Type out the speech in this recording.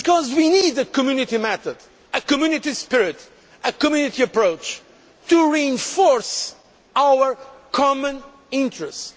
We need a Community that matters a Community spirit and a Community approach to reinforce our common interests.